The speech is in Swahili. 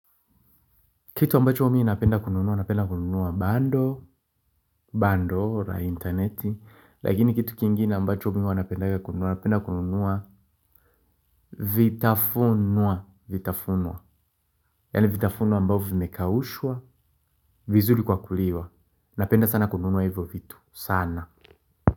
Kitu ambacho mimi napenda kununuwa, napenda kununuwa bando, bando, la interneti. Lakini kitu kingine ambacho mimi wanapenda kununuwa, napenda kununuwa vitafunuwa. Vitafunuwa, yani vitafunuwa ambavyo vimekaushwa, vizuli kwa kuliwa. Napenda sana kununuwa hivyo vitu, sana.